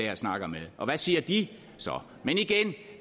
han snakker med og hvad siger de så men igen